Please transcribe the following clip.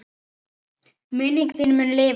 Minning þín mun lifa.